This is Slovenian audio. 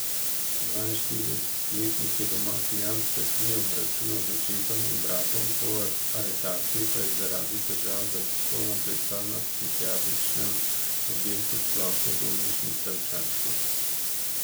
Dvainštiridesetletnik je doma pijan s pestmi obračunal z očetom in bratom, po aretaciji pa je zaradi težav z alkoholom pristal na psihiatričnem oddelku Splošne bolnišnice v Čačku.